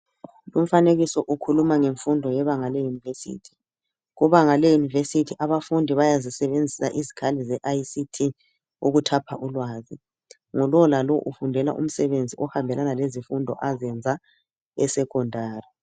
Umfanekiso ukhuluma ngemfundo yebanga leyunivesithi. Kubanga le yunivesithi abafundi bayazisebenzisa izikhali zeICT ukuthapha ulwazi. Ngulowolalo ufundela umsebenzi ozihambelana lezifundo azenza esecondary.